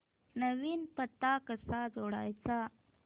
नवीन पत्ता कसा जोडायचा